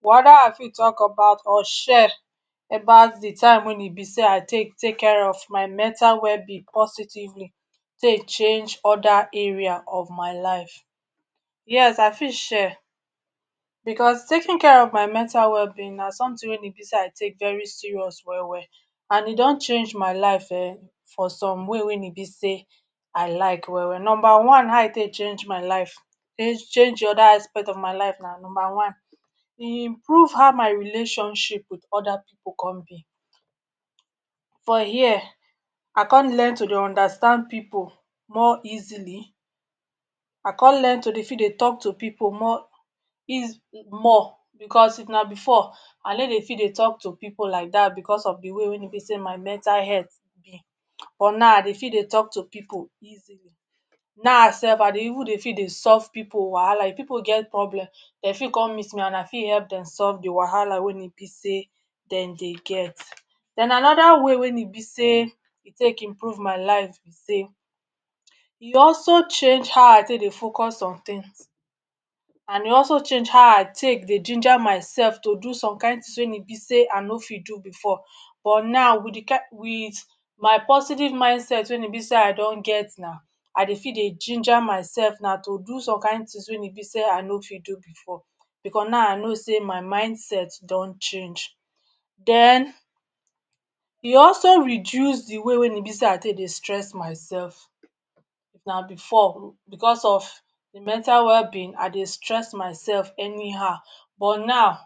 Whether I fit talk about or share about di time wey im be sey I take take care of my mental wellbeing positively take change oda area of my life Yes I fit share, because taking care of my mental wellbeing na someetin wey im be sey I take very serious well-well and e don change my life en for some way wey im be sey I like well-well Numba one how e take change my life um change di oda aspect of my life na numba one, e improve how my relationship with oda pipu com be, for here I com learn to understand pipu more easily I come learn to dey fit dey talk to pipu more um more, because if na before I no dey fit dey talk to pipu like dat because of di way wey im be sey my mental health dey, but now I dey fit dey talk to pipu easily Now dey fit dey solve pipu wahala if pipu get problem dem fit come meet me and I fit hep dem solve di wahala wey im be say dem dey get Den anoda way wey im be sey e take improve my life be sey e also change how I take dey focus on tins, and e also change how I take dey ginger my self to do some kain tins wey im be say I no fit do before but now um with my positive mind set wey im be sey I don get na I dey fit dey ginger myself na to do some kain tins wey im be sey I no fit do before Because now I no sey my mind set don change, den e also reduce di way wey im be sey I take dey stress my self, if na before because of di mental wellbeing I dey stress myself anyhow but now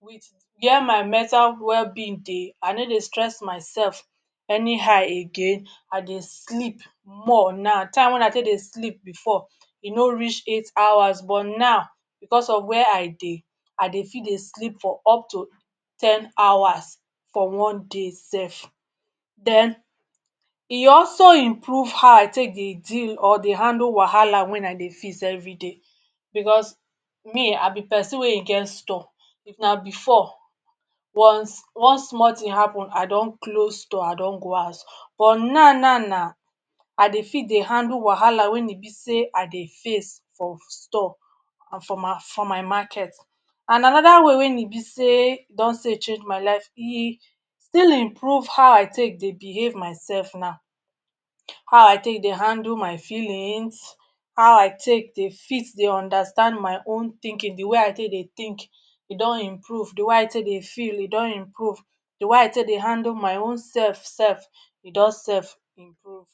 with where my mental wellbeing dey I no dey stress myself anyhow again I dey sleep more now, di time wey I take dey sleep before e no reach eight hours but now because of where I dey, I dey feel dey sleep up to ten hours for one day self Den e also improve how take dey deal or handle wahala wen I dey feel every day because me I be pesin wey im get store If na before one one small tin wey happen I don close store I don go house, but now now now I dey fit dey handle wahala wey im be sey I dey face for store and for my for my market And anoda way wey im be sey e don still change my life, e e still improve how I take dey behave myself now, how I take dey handle my feelings, how I take dey fit understand my own tinkin, di way I take dey tink e don improve, di way I take dey feel e don improve, di way I take dey handle my own self self e don